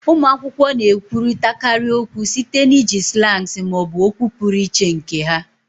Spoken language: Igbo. Ụmụ akwụkwọ na-ekwurịtakarị okwu site na iji slangs ma ọ bụ okwu pụrụ iche nke ha